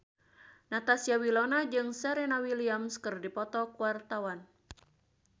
Natasha Wilona jeung Serena Williams keur dipoto ku wartawan